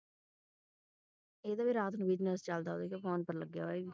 ਇਹਦਾ ਵੀ ਰਾਤ ਨੂੰ business ਚਲਦਾ ਓਧਰ ਦੇਖ phone ਤੇ ਲਗਿਆ ਹੋਇਆ ਇਹ ਵੀ